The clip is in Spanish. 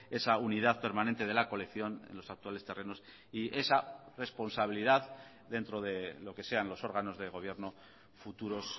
esa unidad permanente de la colección en los actuales terrenos y esa responsabilidad dentro de lo que sean los órganos de gobierno futuros